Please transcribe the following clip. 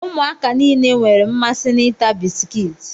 Ụmụaka nile nwere mmasị na ịta bisikiiti